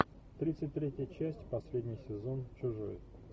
тридцать третья часть последний сезон чужой